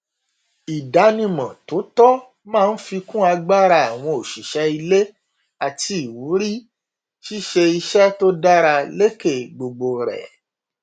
ìdánimọ tó tọ máa n fi kún agbára àwọn òṣìṣẹ ilé àti ìwúrí ṣíṣe iṣẹ tó dára lékè gbogbo rẹ